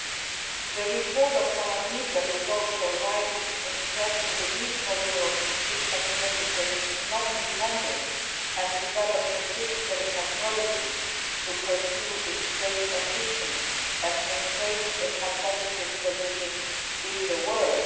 Ms Nieblerʼs report is also right in stressing the need for Europe to seek technological non dependence and develop the critical technology to pursue its space ambition and maintain a competitive position in the world.